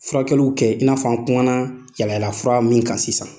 Furakɛliw kɛ i n'afɔ an kumana yaala ylaala fura min kan sisan.